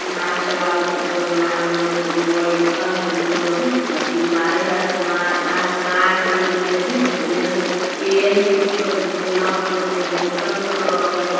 नाव चलावत हई दरिया में कोनो बइठल हई कोनो एथी मारे है आसमान आसमान हई उन्हें उन्हें पेड़ हई कुछ तो दुनिया हो तो उन्हें बोतल सब रखले --